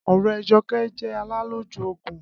Ọ̀rẹ́ Jọkẹ́ jẹ́ alálòjù òògùn